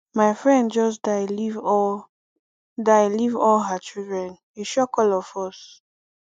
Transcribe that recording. my friend just die leave all die leave all her children e shock all of us